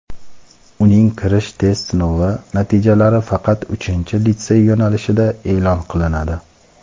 uning kirish test sinovi natijalari faqat uchinchi litsey yo‘nalishida e’lon qilinadi;.